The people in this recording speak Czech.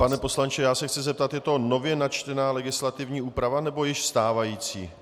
Pane poslanče, já se chci zeptat, je to nově načtená legislativní úprava, nebo již stávající.